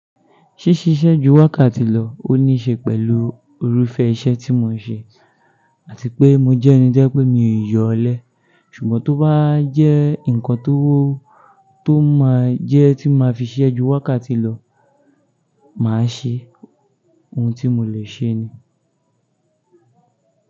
Ṣísiṣẹ́ ju wákàtí lọ ó níṣe pẹ̀lú irúfẹ́ iṣẹ́ tí mò ń ṣe àti pé mò jẹ́ ẹni tó je pé mi yóò lẹ. Ṣùgbọ́n tó bá jẹ́ nǹkan tó máa jẹ́ tí màá fi siṣẹ́ ju wákàtí lọ, màá ṣe òun tí mò lè ṣe ni.